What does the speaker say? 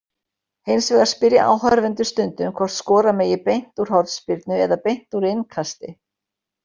Hins vegar spyrja áhorfendur stundum hvort skora megi beint úr hornspyrnu- eða beint úr innkasti.